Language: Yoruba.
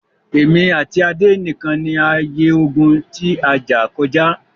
Èmi àti Adé nìkan ni a ye ogún ti a jà kọjá.